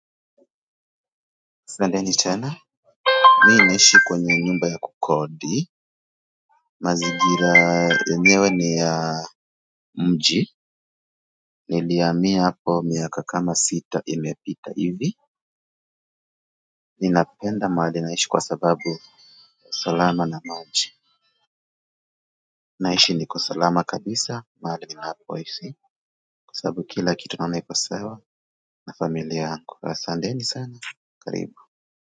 Twendeni tena. Mimi naishi kwenye nyumba ya kukodi. Mazigira yenyewe ni ya mji. Nilihamia hapo miaka kama sita imepita hivi. Ninapenda mahali naishi kwa sababu salama na maji. Nahisi niko salama kabisa mahali ninapoishi. Kwa sababu kila kitu ninaona iko sawa na familia yangu asanteni sana karibu.